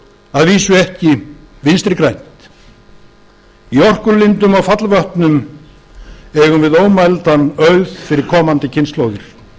að vísu ekki vinstri grænt í orkulindum og fallvötnum eigum við ómældan auð fyrir komandi kynslóðir